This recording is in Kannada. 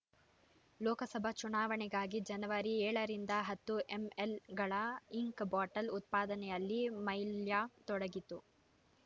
ಲೋಕಸಭಾ ಚುನಾವಣೆಗಾಗಿ ಜನವರಿ ಏಳು ರಿಂದ ಹತ್ತು ಎಂಎಲ್ ಗಳ ಇಂಕ್ ಬಾಟೆಲ್ ಉತ್ಪಾದನೆಯಲ್ಲಿ ಮೈಲ್ಯಾಕ್ ತೊಡಗಿತ್ತು